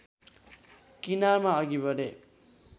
किनारामा अघि बढे